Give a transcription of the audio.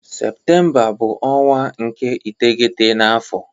Septemba bu onwa nke iteghete na afo